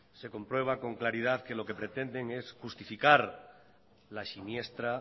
se comprueba con claridad que lo que pretenden es justificar la siniestra